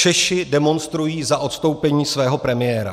Češi demonstrují za odstoupení svého premiéra.